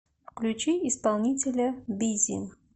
включи исполнителя биззи